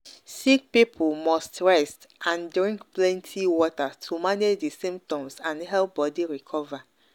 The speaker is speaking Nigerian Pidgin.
sick people must rest and drink plenty water to manage di symptoms and help body recover